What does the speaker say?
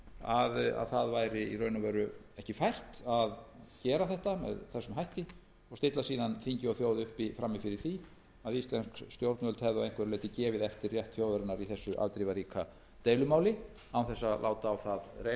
stilla þingi og þjóð síðan upp frammi fyrir því að íslensk stjórnvöld hefðu að einhverju leyti gefið eftir rétt þjóðarinnar í þessu afdrifaríka deilumáli án þess að fá